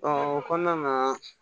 o kɔnɔna na